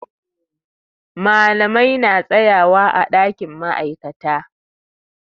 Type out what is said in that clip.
Malamai na tsayawa ã dakin ma'aikata.